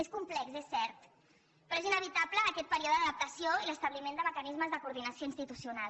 és complex és cert però és inevitable aquest període d’adaptació i l’establiment de mecanismes de coordinació institucional